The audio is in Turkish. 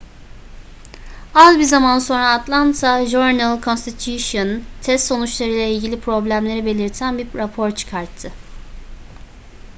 az bir zaman sonra atlanta journal-constitution test sonuçlarıyla ilgili problemleri belirten bir rapor çıkarttı